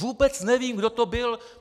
Vůbec nevím, kdo to byl.